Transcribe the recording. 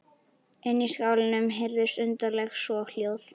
Inni í skálanum heyrðust undarleg soghljóð.